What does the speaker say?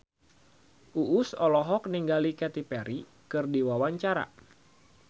Uus olohok ningali Katy Perry keur diwawancara